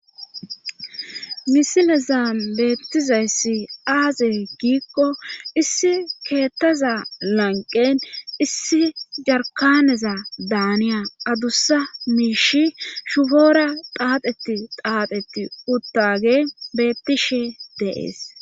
misileza beettizayssi aaze giikko issi keettaza lanqen issi jarkaneza daaniya adussa miishi shufoora xaaxeti xaaxetti uttage bettishe deees